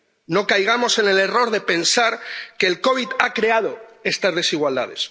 No caigamos en el error de pensar que el COVID ha creado estas desigualdades.